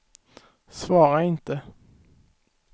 svara inte